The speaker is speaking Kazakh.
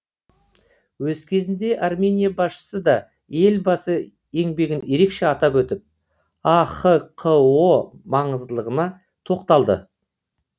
өз кезегінде армения басшысы да елбасы еңбегін ерекше атап өтіп ахқо маңыздылығына тоқталды